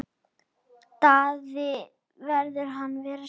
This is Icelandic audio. Daði virti hann fyrir sér.